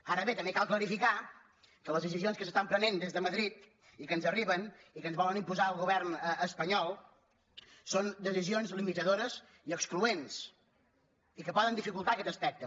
ara bé també cal clarificar que les decisions que es prenen des de madrid i que ens arriben i que ens vol imposar el govern espanyol són decisions limitadores i excloents i que poden dificultar aquest aspecte